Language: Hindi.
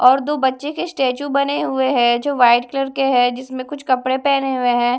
और दो बच्चे के स्टैचू बने हुए हैं जो वाइट कलर के हैं जिसमें कुछ कपड़े पहने हुए हैं।